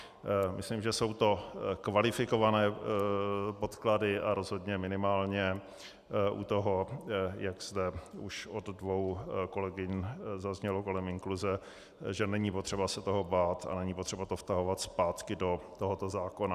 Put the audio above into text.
Myslím, že jsou to kvalifikované podklady a rozhodně minimálně u toho, jak zde už od dvou kolegyň zaznělo kolem inkluze, že není potřeba se toho bát a není potřeba to vtahovat zpátky do tohoto zákona.